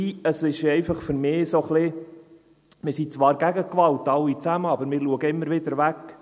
Es ist für mich einfach ein wenig so: Wir sind zwar a lle gegen Gewalt, alle zusammen, aber wir schauen immer wieder weg.